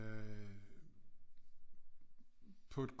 Øh på et